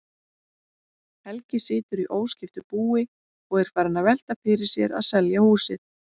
Helgi situr í óskiptu búi og er farinn að velta fyrir sér að selja húsið.